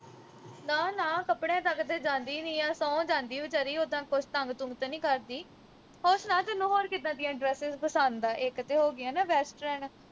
ਨਾ ਨਾ ਕੱਪੜਿਆਂ ਤੱਕ ਤੇ ਜਾਂਦੀ ਨੀ ਆ ਸੌ ਜਾਂਦੀ ਵਿਚਾਰੀ ਉੱਦਾਂ ਕੁਛ ਤੰਗ ਤੁੰਗ ਤੇ ਨੀ ਕਰਦੀ ਹੋਰ ਸੁਣਾ ਤੈਨੂੰ ਹੋਰ ਕਿੱਦਾਂ ਦੀਆਂ dresses ਪਸੰਦ ਐ ਇਕ ਤੇ ਹੋ ਗਈਆਂ ਨਾ western